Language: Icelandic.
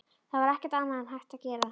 Það var ekkert annað hægt að gera.